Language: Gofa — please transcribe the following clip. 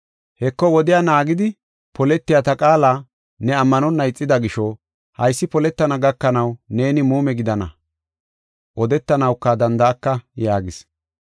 Heko, wodiya naagidi poletiya ta qaala ne ammanonna ixida gisho, haysi poletana gakanaw neeni muume gidana, odetanawuka danda7aka” yaagis.